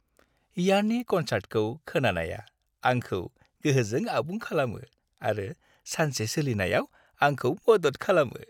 Yanni कन्सार्टखौ खोनानाया आंखौ गोहोजों आबुं खालामो आरो सानसे सोलिनायाव आंखौ मदद खालामो।